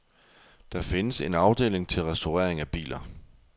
Der findes en afdeling til restaurering af biler.